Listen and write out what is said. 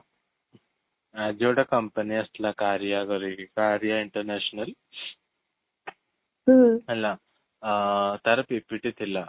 ଆଜି ଗୋଟେ company ଆସିଥିଲା କାର୍ଯ୍ୟ quality କାର୍ଯ୍ୟ international ହେଲା ଅ ତା'ର PPT ଥିଲା